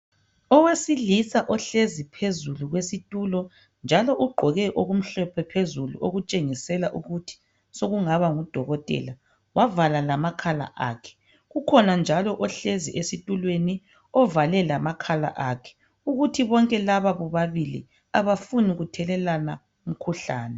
Owesilisa ohlezi phezu kwesitulo njalo ugqoke okumhlophe phezulu okutshengisela ukuthi sekungaba ngudokotela wavala lamakhala akhe ukhona njalo ohlezi esitulweni ovale lamakhala akhe ukuthi bonke laba bobabili abafuni kuthelelana umkhuhlane.